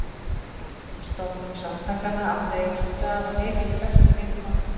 Stofnun samtakanna átti að eiga sér stað á heimili bestu vinkonu